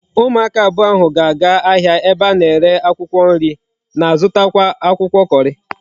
Umu aka abuo ahu ga aga ahia ebe ana ere akwukwo nri na zuta akwukwo curry